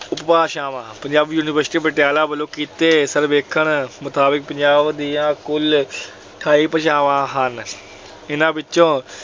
ਉਪਭਾਸ਼ਾਵਾਂ। ਪੰਜਾਬੀ ਯੂਨੀਵਰਸਿਟੀ ਪਟਿਆਲਾ ਵੱਲੋਂ ਕੀਤੇ ਸਰਵੇਖਣ ਮੁਤਾਬਕ ਪੰਜਾਬ ਦੀਆਂ ਕੁੱਲ ਅਠਾਈ ਭਾਸ਼ਾਵਾਂ ਹਨ। ਇਹਨਾਂ ਵਿੱਚੋਂ